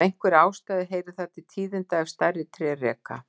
Af einhverri ástæðu heyrir það til tíðinda ef stærri tré reka.